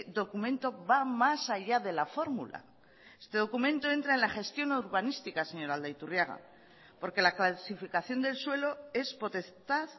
documento va más allá de la fórmula este documento entra en la gestión urbanística señor aldaiturriaga porque la clasificación del suelo es potestad